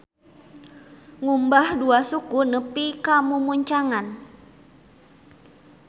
Ngumbah dua suku nepi ka mumuncangan.